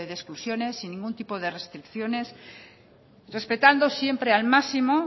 de exclusiones sin ningún tipo de restricciones respetando siempre al máximo